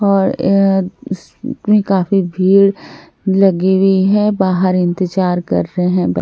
और यह काफी भीड़ लगी हुई है बाहर इंतजार कर रहे हैं ब--